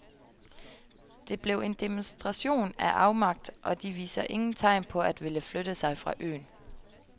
Det blev en demonstration af afmagt, og de viser ingen tegn på at ville flytte sig fra øen.